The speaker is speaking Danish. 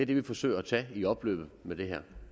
det vi forsøger at tage i opløbet med det her